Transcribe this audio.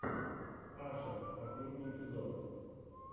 ашер последний эпизод